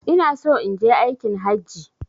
Inaso inje aikin hajji